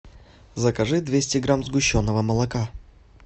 закажи двести грамм сгущенного молока